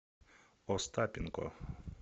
остапенко